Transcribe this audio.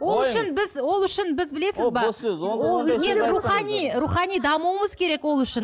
ол үшін біз ол үшін біз білесіз бе рухани рухани дамуымыз керек ол үшін